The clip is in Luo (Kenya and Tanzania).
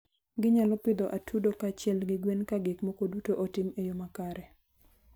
Ginyalo pidho atudo kaachiel gi gwen ka gik moko duto otim e yo makare.